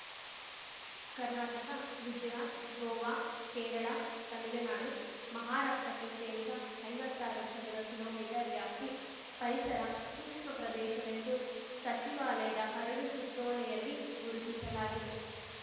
ಕರ್ನಾಟಕ ಗುಜರಾತ್‌ ಗೋವಾ ಕೇರಳ ತಮಿಳುನಾಡು ಮಹಾರಾಷ್ಟ್ರಕ್ಕೆ ಸೇರಿದ ಐವತ್ತಾರು ಚದರ ಕಿಲೋಮೀಟರ್ ವ್ಯಾಪ್ತಿ ಪರಿಸರ ಸೂಕ್ಷ್ಮ ಪ್ರದೇಶವೆಂದು ಸಚಿವಾಲಯದ ಕರಡು ಸುತ್ತೋಲೆಯಲ್ಲಿ ಗುರುತಿಸಲಾಗಿದೆ